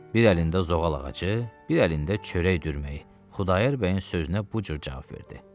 Bir əlində zoğal ağacı, bir əlində çörək dürməyi, Xudayar bəyin sözünə bu cür cavab verdi.